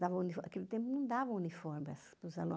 Naquele tempo não dava uniformes para os alunos.